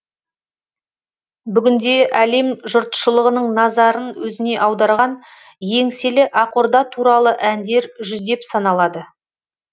бүгінде әлем жұртшлығының назарын өзіне аударған еңселі ақорда туралы әндер жүздеп саналады